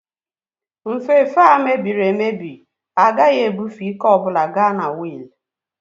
Nfefe a mebiri emebi agaghị ebufe ike ọ bụla ga na wiil